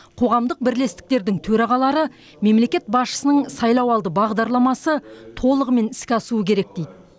қоғамдық бірлестіктердің төрағалары мемлекет басшысының сайлауалды бағдарламасы толығымен іске асуы керек дейді